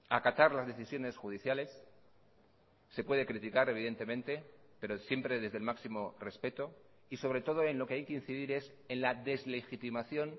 acatar las decisiones judiciales se puede criticar evidentemente pero siempre desde el máximo respeto y sobre todo en lo que hay que incidir es en la deslegitimación